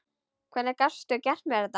Hvernig gastu gert mér þetta?